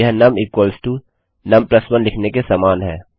यह नुम num 1 लिखने के समान है